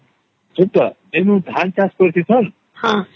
ସେଇ ଯୋଉ ଧାନ ଚାଷ କରିଛି ତା